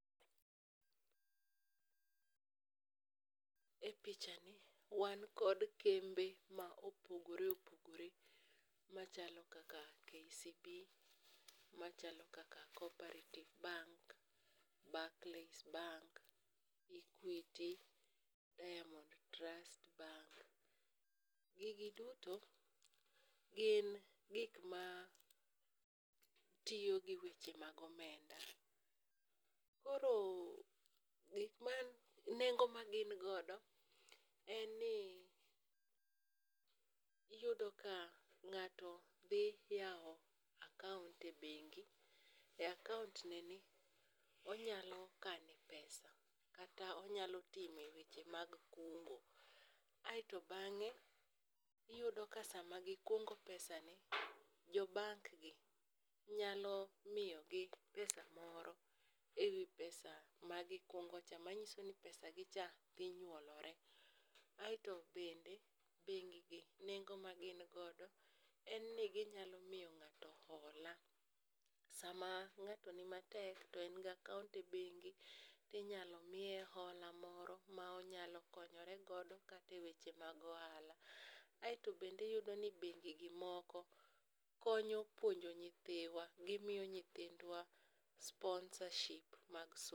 E pichani wan kod kembe ma opogore opogore machalo kaka KCB,machalo kaka Cooperative Bank, Barclays bank, Equity ,Diamond Trust Bank. gigi duto, gin gik ma tiyo gi weche mag omenda. Koro nengo ma gin godo en ni iyudo ka ng'ato dhi yawo akaont e bengi,e akaont neni, onyalo kane pesa kata onyalo time weche mag kungo. aeto bang'e, iyudo ka sama gikungo pesani, jo bank gi, nyalo miyogi pesa moro e wi pesa magikungo cha, manyiso ni pesagi cha dhi nyuolre. Aeto bende bengigi nengo ma gin godo en ni ginyalo miyo ng'ato hola, sama ng'ato ni matek to en gi akaont e bengi, to inyalo miye hola moro ma onyalo konyore godo kata e weche mag ohala. Aeto bende iyudo ni bengi gi moko, konyo puonjo nyithiwa, gimiyo nyithindwa sponsorship mag somo.